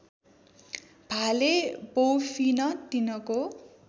भाले बौफिन तिनको